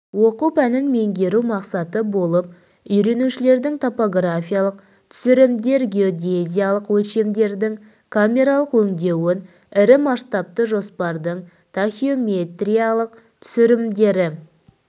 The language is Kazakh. оқу пәнін меңгеру мақсаты болып үйренушілердің топографиялық түсірімдер геодезиялық өлшемдердің камералық өңдеуін ірі масштабты жоспардың тахеометриялық түсірімдері